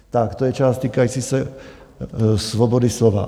Tak, to je část týkající se svobody slova.